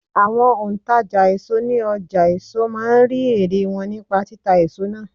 Àwọn òǹtàjà èso ní ọjà èso máa ń rí ẹ̀rẹ̀ wọn nípa títa èso náà.